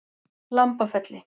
Lambafelli